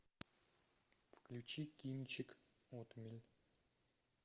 включи кинчик отмель